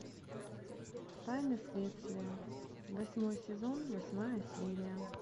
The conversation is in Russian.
тайны следствия восьмой сезон восьмая серия